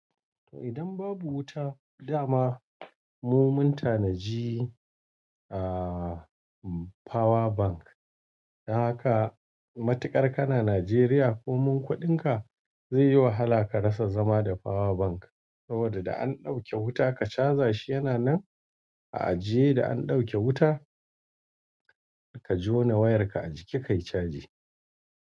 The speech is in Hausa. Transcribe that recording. Idan babu wuta dama mun tanaji power bank. Haka matuƙar ka na Najeriya ko mun kuɗin ka zai yi wahala ka rasa zama da power bank. Saboda da an ɗauke wuta ka caja shi yana nan a ajiye da an ɗauke wuta ka jona wayarka a ciki kai caji.